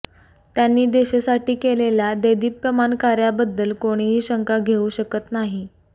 त्यांनी देशासाठी केलेल्या देदीप्यमान कार्याबद्दल कोणीही शंका घेऊ शकत नाही